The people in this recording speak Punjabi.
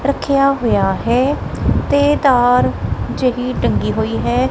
ਰੱਖਿਆ ਹੋਇਆ ਹੈ ਤੇ ਤਾਰ ਜਿਹੜੀ ਟੰਗੀ ਹੋਈ ਹੈ।